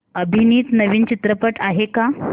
अभिनीत नवीन चित्रपट आहे का